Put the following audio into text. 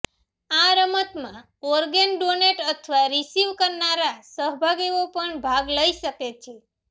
આ રમતમાં organ donate અથવા રિસીવ કરનારા સહભાગીઓ જ ભાગ લઈ શકે છે